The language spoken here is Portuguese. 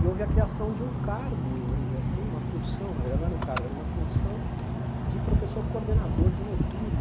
E houve a criação de um cargo, vamos dizer assim, uma função, na verdade não era um cargo, era uma função de professor coordenador de noturno.